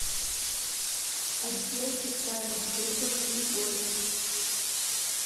отдел социальных выплат и льгот